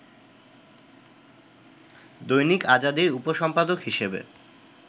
দৈনিক আজাদীর উপসম্পাদক হিসেবে